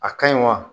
A ka ɲi wa